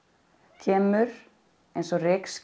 kemur eins og